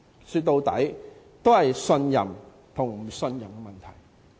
說到底，是信任和不信任的問題。